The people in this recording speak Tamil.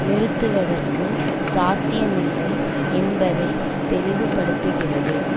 நிறுத்துவதற்கு சாத்தியமில்லை என்பதை தெளிவுபடுத்துகிறது